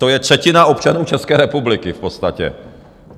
To je třetina občanů České republiky v podstatě.